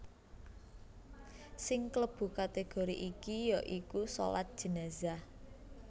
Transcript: Sing klebu kategori iki ya iku shalat jenazah